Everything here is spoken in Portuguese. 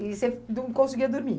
E você não conseguia dormir?